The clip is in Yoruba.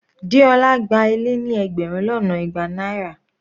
Deola gba ilé ní ẹgbẹrun lọ́nà igba náírà.